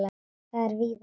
Það er víða þannig.